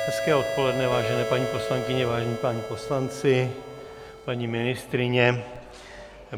Hezké odpoledne, vážené paní poslankyně, vážení páni poslanci, paní ministryně.